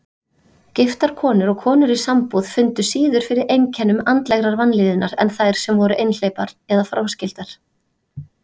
Giftar konur og konur í sambúð fundu síður fyrir einkennum andlegrar vanlíðunar en þær sem voru einhleypar eða fráskildar.